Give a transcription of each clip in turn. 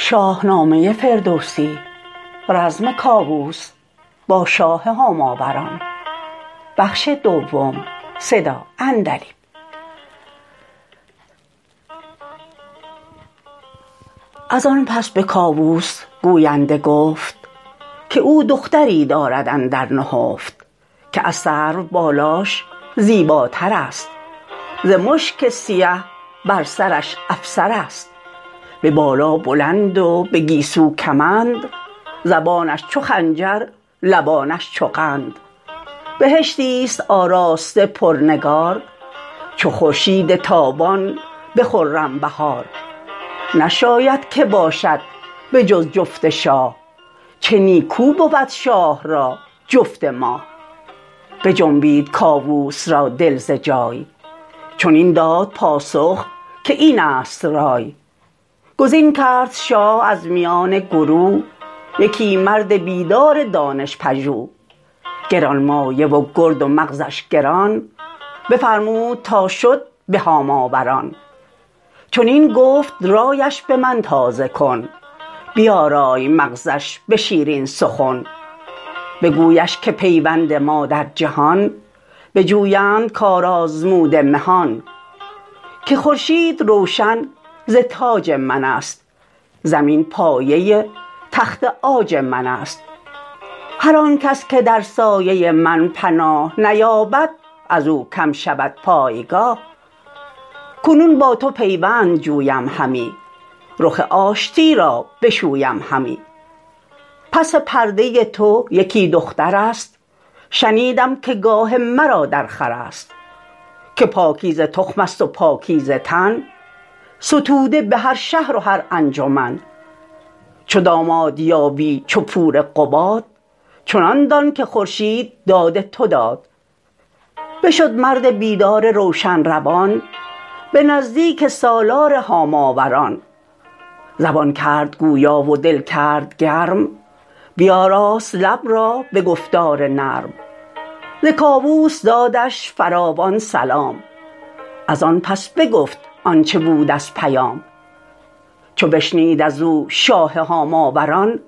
ازان پس به کاووس گوینده گفت که او دختری دارد اندر نهفت که از سرو بالاش زیباترست ز مشک سیه بر سرش افسرست به بالا بلند و به گیسو کمند زبانش چو خنجر لبانش چو قند بهشتیست آراسته پرنگار چو خورشید تابان به خرم بهار نشاید که باشد به جز جفت شاه چه نیکو بود شاه را جفت ماه بجنبید کاووس را دل ز جای چنین داد پاسخ که اینست رای گزین کرد شاه از میان گروه یکی مرد بیدار دانش پژوه گرانمایه و گرد و مغزش گران بفرمود تا شد به هاماوران چنین گفت رایش به من تازه کن بیارای مغزش به شیرین سخن بگویش که پیوند ما در جهان بجویند کار آزموده مهان که خورشید روشن ز تاج منست زمین پایه تخت عاج منست هرانکس که در سایه من پناه نیابد ازو کم شود پایگاه کنون با تو پیوند جویم همی رخ آشتی را بشویم همی پس پرده تو یکی دخترست شنیدم که گاه مرا درخورست که پاکیزه تخم ست و پاکیزه تن ستوده به هر شهر و هر انجمن چو داماد یابی چو پور قباد چنان دان که خورشید داد تو داد بشد مرد بیدار روشن روان به نزدیک سالار هاماوران زبان کرد گویا و دل کرد گرم بیاراست لب را به گفتار نرم ز کاووس دادش فروان سلام ازان پس بگفت آنچ بود از پیام چو بشنید ازو شاه هاماوران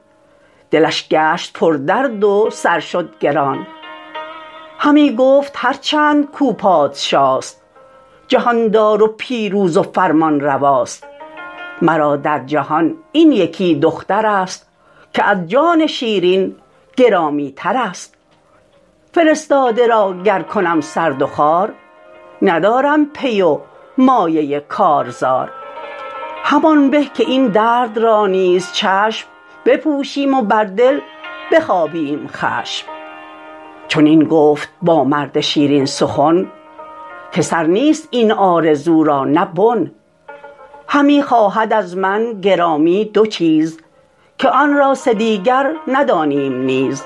دلش گشت پر درد و سر شد گران همی گفت هرچند کاو پادشاست جهاندار و پیروز و فرمان رواست مرا در جهان این یکی دخترست که از جان شیرین گرامی ترست فرستاده را گر کنم سرد و خوار ندارم پی و مایه کارزار همان به که این درد را نیز چشم بپوشم و بر دل بخوابیم خشم چنین گفت با مرد شیرین سخن که سر نیست این آرزو را نه بن همی خواهد از من گرامی دو چیز که آن را سه دیگر ندانیم نیز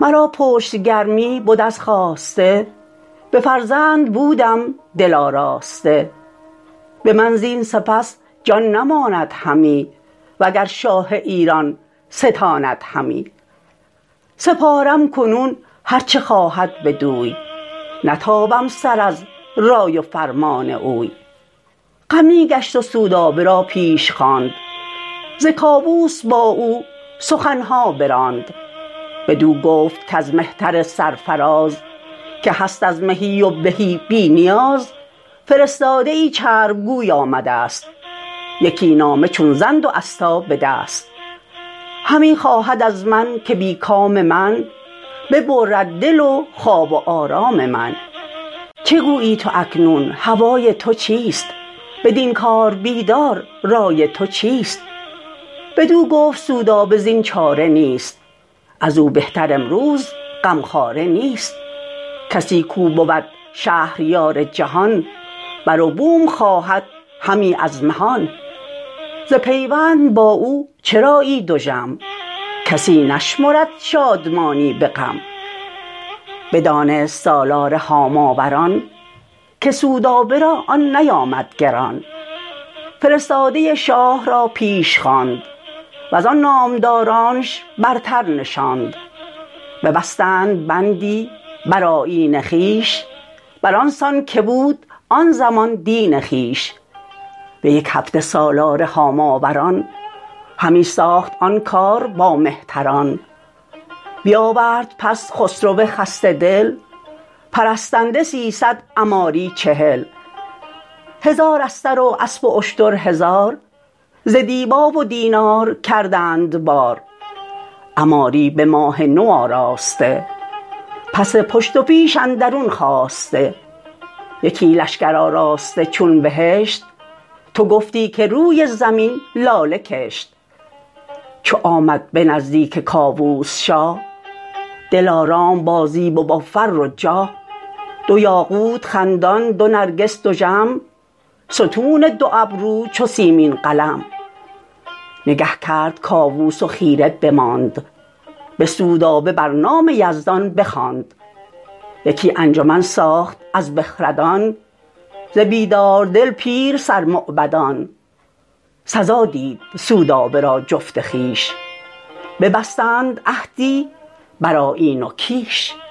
مرا پشت گرمی بد از خواسته به فرزند بودم دل آراسته به من زین سپس جان نماند همی وگر شاه ایران ستاند همی سپارم کنون هرچ خواهد بدوی نتابم سر از رای و فرمان اوی غمی گشت و سودابه را پیش خواند ز کاووس با او سخنها براند بدو گفت کز مهتر سرفراز که هست از مهی و بهی بی نیاز فرستاده ای چرپ گوی آمدست یکی نامه چون زند و استا به دست همی خواهد از من که بی کام من ببرد دل و خواب و آرام من چه گویی تو اکنون هوای تو چیست بدین کار بیدار رای تو چیست بدو گفت سودابه زین چاره نیست ازو بهتر امروز غمخواره نیست کسی کاو بود شهریار جهان بروبوم خواهد همی از مهان ز پیوند با او چرایی دژم کسی نشمرد شادمانی به غم بدانست سالار هاماوران که سودابه را آن نیامد گران فرستاده شاه را پیش خواند وزان نامدارانش برتر نشاند ببستند بندی بر آیین خویش بران سان که بود آن زمان دین خویش به یک هفته سالار هاماوران همی ساخت آن کار با مهتران بیاورد پس خسرو خسته دل پرستنده سیصد عماری چهل هزار استر و اسپ و اشتر هزار ز دیبا و دینار کردند بار عماری به ماه نو آراسته پس پشت و پیش اندرون خواسته یکی لشکر آراسته چون بهشت تو گفتی که روی زمین لاله کشت چو آمد به نزدیک کاووس شاه دل آرام با زیب و با فر و جاه دو یاقوت خندان دو نرگس دژم ستون دو ابرو چو سیمین قلم نگه کرد کاووس و خیره بماند به سودابه بر نام یزدان بخواند یکی انجمن ساخت از بخردان ز بیداردل پیر سر موبدان سزا دید سودابه را جفت خویش ببستند عهدی بر آیین و کیش